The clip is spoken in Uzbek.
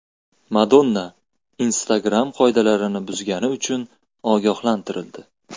Madonna Instagram qoidalarini buzgani uchun ogohlantirildi.